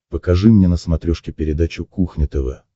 покажи мне на смотрешке передачу кухня тв